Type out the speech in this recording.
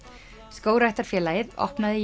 skógræktarfélagið opnaði